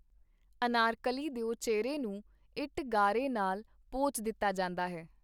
ਅਨਾਰਕਲੀ ਦਿਓ ਚਿਹਰੇ ਨੂੰ ਇੱਟ-ਗਾਰੇ ਨਾਲ ਪੋਚ ਦਿੱਤਾ ਜਾਂਦਾ ਹੈ.